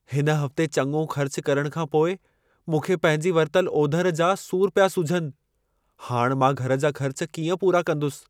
हिन हफ़्ते चङो ख़र्च करण खां पोइ मूंखे पंहिंजी वरितल ओधर जा सूर पिया सुझनि। हाणि मां घर जा ख़र्च कीअं पूरा कंदुसि?